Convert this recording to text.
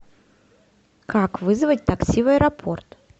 как вызвать такси в аэропорт